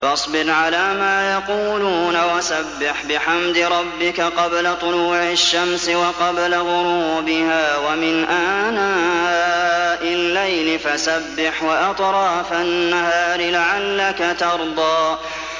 فَاصْبِرْ عَلَىٰ مَا يَقُولُونَ وَسَبِّحْ بِحَمْدِ رَبِّكَ قَبْلَ طُلُوعِ الشَّمْسِ وَقَبْلَ غُرُوبِهَا ۖ وَمِنْ آنَاءِ اللَّيْلِ فَسَبِّحْ وَأَطْرَافَ النَّهَارِ لَعَلَّكَ تَرْضَىٰ